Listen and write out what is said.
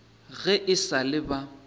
ge e sa le ba